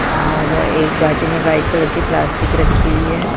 और एक बाजू में वाइट कलर की प्लास्टिक रखी हुई है।